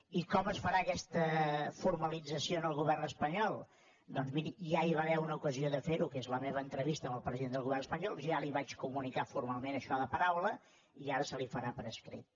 i com es farà aquesta formalització en el govern espanyol doncs miri ja hi va haver una ocasió de fer ho que és la meva entrevista amb el president del govern espanyol ja li vaig comunicar formalment això de paraula i ara se li farà per escrit